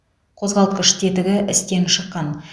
қозғалтқыш тетігі істен шыққан